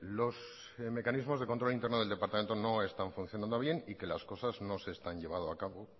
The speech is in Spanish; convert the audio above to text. los mecanismos de control interno del departamento no están funcionando bien y que las cosas no se están llevado a cabo